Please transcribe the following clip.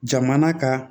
Jamana ka